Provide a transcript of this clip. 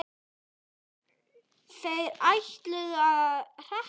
Þeir ætluðu að hrekkja okkur